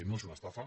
no és una esta·fa